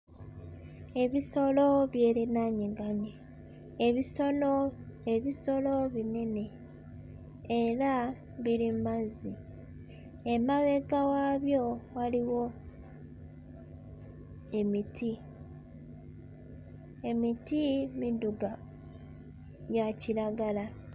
Ebisolo byerinaaniganye. Ebisolo ebisolo binene era biri mmazzi. Emabega waabyo waliwo emiti. Emiti midduga gya kiragala.